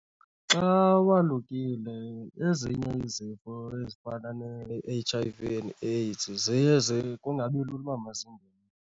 Xa walukile ezinye izifo ezifana ne-H_I_V and AIDs ziye kungabi lula uba mazingene.